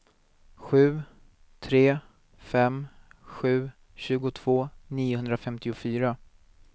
sju tre fem sju tjugotvå niohundrafemtiofyra